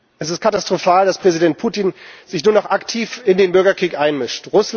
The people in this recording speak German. Es ist katastrophal, dass Präsident Putin sich nun auch aktiv in den Bürgerkrieg einmischt.